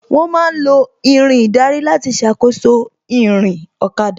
Wón ma ń lo Irin ìdarí láti ṣàkóso ìrìn ọ̀kada